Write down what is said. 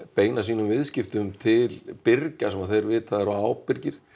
beina sínum viðskiptum til byrgja sem þeir vita að eru ábyrgir